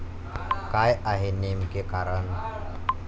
काय आहे नेमके कारण?